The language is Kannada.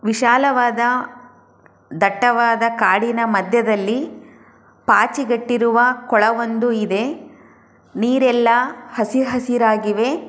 ವಿಶಾಲವಾದ ದಟ್ಟವಾದ ಕಾಡಿನ ಮಧ್ಯದಲ್ಲಿ ಪಾಚಿ ಕಟ್ಟಿರುವ ಕೊಳವೊಂದು ಇದೆ ನೀರೆಲ್ಲಾ ಹಸಿ ಹಸಿರಾಗಿದೆ .